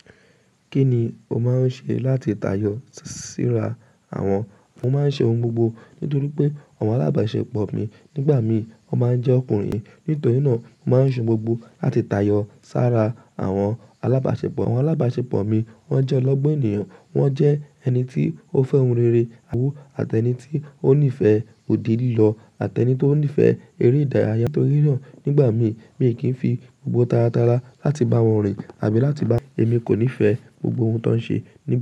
Kí ni o máa ń ṣe láti tayọ síra àwọn? Mo máa ń ṣe oun gbogbo nítorí pé àwọn alábàáṣepọ̀ mi nígbà mí wọ́n máa ń jẹ́ ọkùnrin. Nítorí náà mo máa ń ṣe oun gbogbo láti tayọ sara àwọn alábàáṣepọ̀. Àwọn alábàáṣepọ̀ mi wọ́n jẹ́ ọlọ́gbọ́n ènìyàn, wọ́n jẹ́ ẹni tí ó fẹ́ oun rere, àbúwọ́ àti ẹni tí ó nífẹ̀ẹ́ òde lílọ àti ẹni tí ó nífẹ̀ẹ́ eré ìdárayá. Nítorí náà nígbà mií, mi kì í fi gbogbo taratara láti bá wọn rìn àbí láti bá Èmi kò nífẹ̀ẹ́ gbogbo ohun tó ń ṣe ni.